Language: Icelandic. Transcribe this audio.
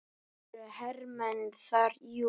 Það eru hermenn þar, jú.